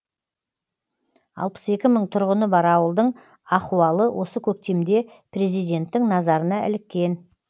алпыс екі мың тұрғыны бар ауылдың ахуалы осы көктемде президенттің назарына іліккен